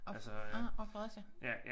Ah Fredericia